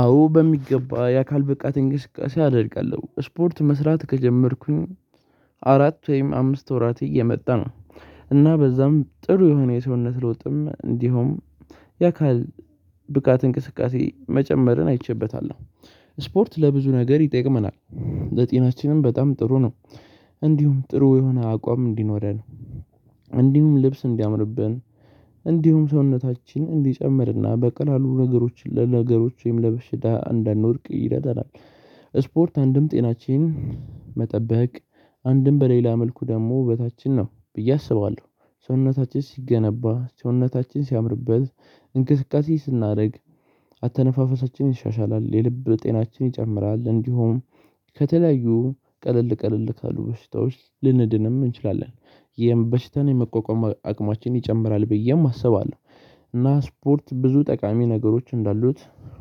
አዎ በሚገባ የአካል ብቃት እንግስቃሴ አደርጋለሁ ስፖርት መስራት ከጀመርኩኝ አራት ወይም አምስት ወራት እየመጣ ነው። እና በዛም ጥሩ የሆነ የሰውነት ለውጥም እንዲሁም የአካል ብቃት እንቅስቃሴ መጨመርን አይቼበታለሁ። ስፖርት ለብዙ ነገር ይጠቅመናል ለጤናችንም በጣም ጥሩ ነው። እንዲሁም ጥሩ የሆነ አቋም እንዲኖረን እንዲሁም ልብስ እንዲያምርብን እንዲሁም ሰውነታችን እንዲጨምርና በቀላሉ ነገሮች ለነገሮች ወይም ለበሽታ እንዳንወድቅ ይረዳናል። ስፖርት አንድም ጤናችን መጠበቅ አንድም በሌላ መልኩ ደግሞ በታችን ነው ብዬ አስባለሁ። ሰውነታችን ሲገነባ ሰውነታችን ሲያምርበት እንቅስቃሴ ስናደርግ አተነፋፈሳችንን ይሻሻላል የልብ ጤናችን ይጨምራል እንዲሁም ከተለያዩ ቀለል ቀለል ካሉ በሽታዎች ልንድንም እንችላለን። ይሄን በሽታን የመቋቋም አቅማችን ይጨምራል ብዬም አስባለሁ። እና ስፖርት ብዙ ጠቃሚ ነገሮች እንዳሉት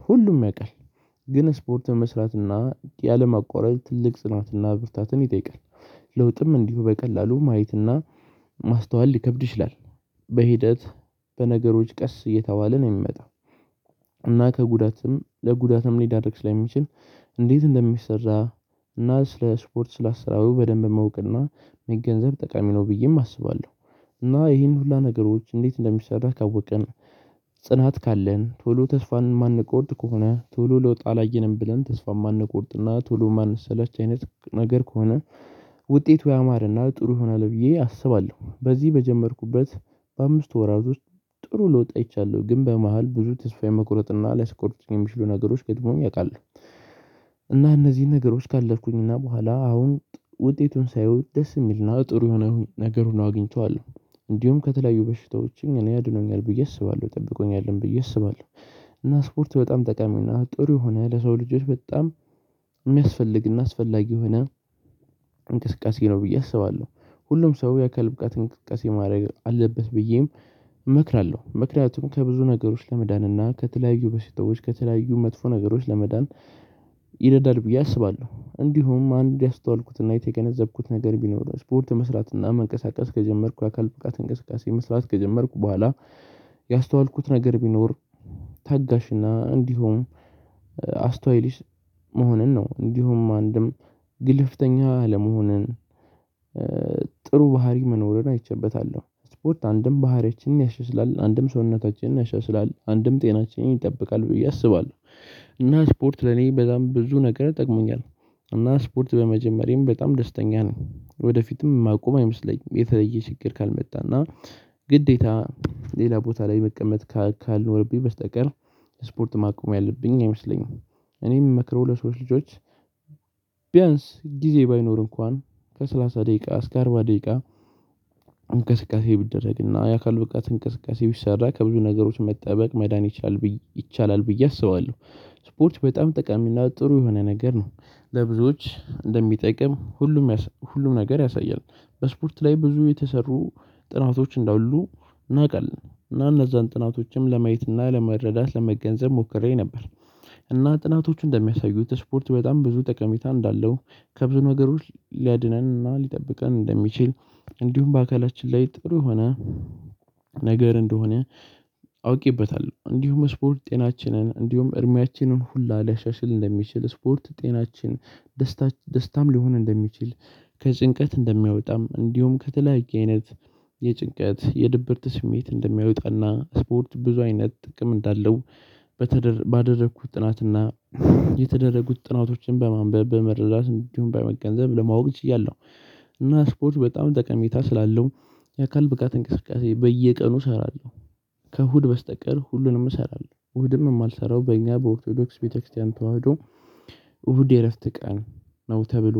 ሁሉም ያውቃል። ግን ስፖርት መስራትና ያለም ማቋረጥ ትልቅ ጽናትና ዝርታትን ይጠይቃል። ለውጥም እንዲሁ በቀላሉ ማየትና ማስተዋል ሊከብድ ይችላል። በሂደት በነገሮች ቀስ እየተባለ ነው የሚመጣው። እና ከጉዳትም ለጉዳትም ሊዳርግ ስለሚችል እንዴት እንደሚሰራ እና ስለ ስፖርት ስለ አሰራዩ በደንብ ማውቅና መገንዘብ ጠቃሚ ነው ብዬም አስባለሁ። እና ይህን ሁሉ ነገሮች እንዴት እንደሚሰራ ካወቅን ጽናት ካለን ቶሎ ተስፋን የማንቆርጥ ከሆነ ቱሉ ለውጥ አላየንም ብለን ተስፋ የማንቆርጥና ቱሉ ማንሰለች አይነት ነገር ከሆነ ውጤቱ ያማረና ጥሩ ይሆናል ብዬ አስባለሁ። በዚህ በጀመርኩበት በአምስት ወራት ውስጥ ጥሩ ልወጣ አይቻለሁ ግን በመሃል ብዙ ተስፋ የመቁረጥና ላይ ስቆርጥ የሚችሉ ነገሮች ገድሞኝ አውቃለሁ። እና እነዚህን ነገሮች ካለፍኩኝ እና በኋላ አሁን ውጤቱን ሳይውት ደስ የሚል ነው ጥሩ የሆነ ነገር ሆኖ አግኝተዋለሁ እንዲሁም ከተለያዩ በሽታዎችን እኔ አድኖኛል ብዬ አስባለሁ ጠብቆኛልም ብዬ አስባለሁ። እና ስፖርት በጣም ጠቃሚና ጥሩ ሆነ ለሰው ልጆች በጣም የሚያስፈልግና አስፈላጊ ሆነ። እንቅስቃሴ ነው ብዬ አስባለሁ ሁሉም ሰው የአካል ብቃት እንቅስቃሴ ማድረግ አለበት ብዬም እመክራለሁ። መክራቱም ከብዙ ነገሮች ለመዳን እና ከተለያዩ በስተዎች ከተለያዩ መጥፎ ነገሮች ለመዳን ይደዳል ብዬ አስባለሁ። እንዲሁም አንድ ያስተዋልኩትና የተገነዘብኩት ነገር ቢኖር ስፖርት መስራትና መንቀሳቀስ ከጀመርኩ የአካል ፍቃት እንቅስቃሴ መስራት ከጀመርኩ በኋላ ያስተዋልኩት ነገር ቢኖር ታጋሽና እንዲሁም አስታይልሽ መሆንን ነው እንዲሁም አንድም ግልፍተኛ ለመሆንን ጥሩ ባህሪ መኖርን አይቼበታለሁ። ስፖርት አንድም ባህሪያችንን ያሸስላል አንድም ሰውነታችንን ያሸስላል አንድም ጤናችን ይጠብቃል ብዬ አስባለሁ። እና ስፖርት ለኔ በጣም ብዙ ነገር ጠቅሞኛል። እና ስፖርት በመጀመሪያም በጣም ደስተኛ ነኝ ወደፊትም ማቆም አይመስለኝም የተለየ ችግር ካልመጣና ግዴታ ሌላ ቦታ ላይ መቀመጥ ካልኖርብኝ በስተቀር ስፖርት ማቆሚያ አለብኝ አይመስለኝም። እኔ የምመክረው ለሰዎች ልጆች ቢያንስ ጊዜ ባይኖር እንኳን ከሰላሳ ደቂቃ እስከ አርባ ደቂቃ እንቅስቃሴ ብደረግና የአካሉ ብቃት እንቅስቃሴ ቢሰራ ከብዙ ነገሮች መጠበቅ መዳኒት ይቻላል ብዬ አስባለሁ። ስፖርች በጣም ጠቃሚና ጥሩ የሆነ ነገር ነው ለብዙዎች እንደሚጠቅም ሁሉም ሁሉም ነገር ያሳያል። በስፖርት ላይ ብዙ የተሰሩ ጥራቶች እንደ እንደሁሉ ነቃልን እና እነዛን ጥናቶችም ለማየት እና ለመረዳት ለመገንዘብ ሞክሬ ነበር። እና ጥናቶቹ እንደሚያሳዩት ስፖርት በጣም ብዙ ጠቀሜታ እንዳለው ከብዙ ነገሮች ሊያድነን እና ሊጠብቀን እንደሚችል እንዲሁም በአካላችን ላይ ጥሩ የሆነ ነገር እንደሆነ አውቂበታለሁ እንዲሁም ስፖርት ጤናችንን እንዲሁም እድሚያችንን ሁላ ሊያሻሽል እንደሚችል ስፖርት ጤናችን ደስታም ሊሆን እንደሚችል ከጭንቀት እንደሚያወጣም እንዲሁም ከተለያየ አይነት የጭንቀት የድብርት ስሜት እንደሚያውጣና ስፖርት ብዙ አይነት ጥቅም እንዳለው ባደረኩት ጥናትና የተደረጉት ጥናቶችን በማንበብ በመረዳት እንዲሁም በመገንዘብ ለማወቅ ችያለሁ። እና ስፖርት በጣም ጠቀሜታ ስላለው የአካል ብቃት እንቅስቃሴ በየቀኑ እሰራለሁ። ከእሁድ በስተቀር ሁሉንም እሰራለሁ እሁድም የማልሰራው በእኛ በኦርቶዶክስ ቤተክርስቲያን ተዋህዶ እሁድ የእረፍት ቀን ነው ተብሎ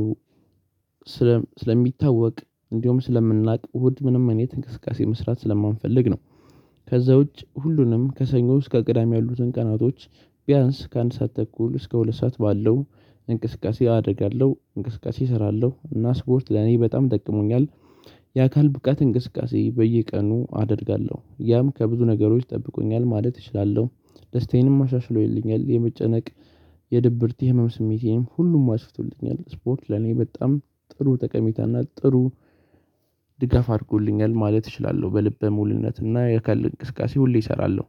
ስለሚታወቅ እንደውም ስለምናውቅ እሁድ ምንም እኔ ትንቅስቃሴ መስራት ስለማንፈልግ ነው። ከዛ ውጪ ሁሉንም ከሰኞ እስከ ቅዳሜ ያሉትን ቀናቶች ቢያንስ ከአንድ ሰዓት ተኩል እስከ ሁለት ሰዓት ባለው እንቅስቃሴ አደርጋለሁ እንቅስቃሴ እሰራለሁ እና ስፖርት ለኔ በጣም ጠቅሞኛል። የአካል ብቃት እንቅስቃሴ በየቀኑ አደርጋለሁ ያም ከብዙ ነገሮች ጠብቆኛል ማለት እችላለሁ። ደስታዬንም ማሻሽሎኝልኛል የመጨነቅ የድብርት ህመም ስሜቴንም ሁሉም አስቶልኛል ስፖርት ለኔ በጣም ጥሩ ጠቀሜታ እና ጥሩ ድጋፍ አድርጎልኛል ማለት እችላለሁ በልበ ሙሉነትና የካል እንቅስቃሴ ሁሌ እሰራለሁ።